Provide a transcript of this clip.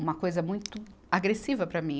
uma coisa muito agressiva para mim.